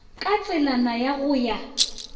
ka tselana ya go ya